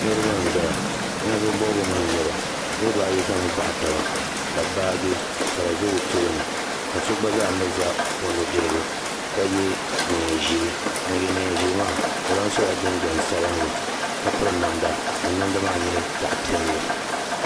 Niriba n-zaya ninvuhi bɔbigu mii nyɛba niriba ayi mii zami baɣa taba ka baaji ka di za o tooni ka so gba zaa mi za o nu'dirigu ka ye neein'ʒee ŋun ye neen'ʒee maa o lahi sola jinjam sabinli ka piri namda ka namda maa nyɛ zaɣ'piɛla.